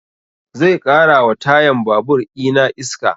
Zai ƙara wa tayan babur ina iska